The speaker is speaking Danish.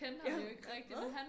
Jeg hvad